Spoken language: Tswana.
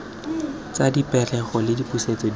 tsa dipegelo le dipusetso di